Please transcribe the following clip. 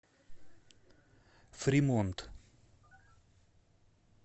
фримонт